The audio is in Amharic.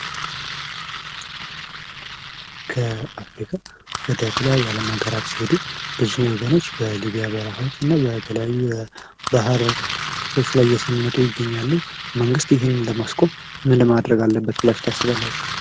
ከአፍሪካ ወደ ተለያዩ አለም ሀገራት ሲሄዱ ብዙ ፅወገኖች በሊቢያ በርሀዎች እና በተለያዩ በሐረቦች ላይ እየሰመጡ ይገኛሉ። መንግስት ይሄን ለማስቆም ምን ማድረግ አለበት ብላቹ ታስባላችሁ?